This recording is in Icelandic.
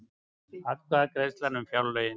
Atkvæðagreiðsla um fjárlögin